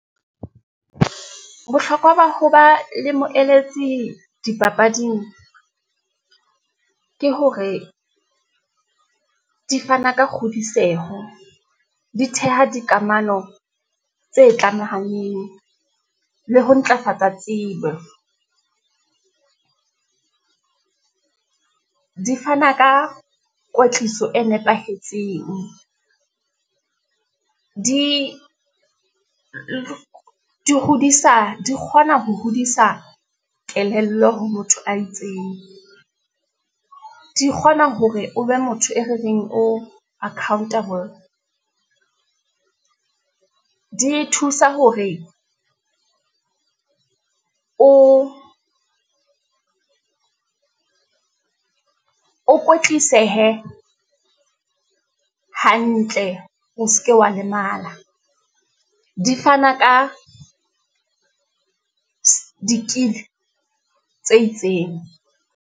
Bohlokwa ba ho ba le moeletsi dipapading, ke hore di fana ka kgodiseho, di theha dikamano tse tlamehang, le ho ntlafatsa tsebo. Di fana ka kwetliso e nepahetseng, di hodisa, di kgona ho hodisa kelello ha motho a itseng, di kgona hore o be motho e re reng o accountable. Di thusa hore o kwetlisehe hantle, o ske wa lemala, di fana ka di-kill-e tse itseng.